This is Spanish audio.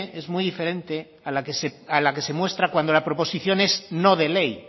es muy diferente a la que se muestra cuando la proposición es no de ley